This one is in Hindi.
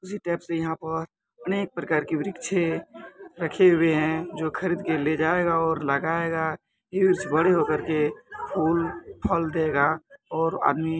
उसी टेप से यहाँ पर अनेक प्रकार की वृक्षे रखे हुए हैं जो खरीद के ले जायेगा और लगाएगा। ये वृक्ष बड़े होकर के फूल फल देगा और आदमी --